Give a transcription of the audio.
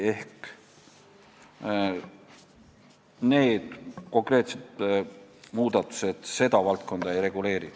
Ehk need muudatused konkreetselt seda valdkonda ei reguleeri.